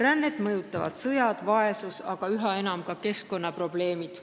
Rännet mõjutavad sõjad ja vaesus, aga üha enam ka keskkonnaprobleemid.